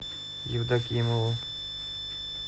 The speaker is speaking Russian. евдокимову